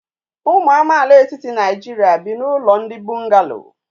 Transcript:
Ụmụ amaala etiti Nigeria bi n'ụlọ ndị bungalọ